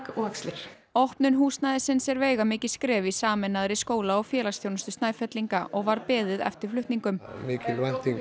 og axlir opnun húsnæðisins er veigamikið skref í sameinaðri skóla og félagsþjónustu Snæfellinga og var beðið eftir flutningum mikil